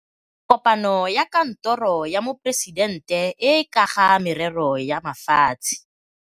Kopano ya Kantoro ya Moporesitente e e ka ga Merero ya Mafatshe.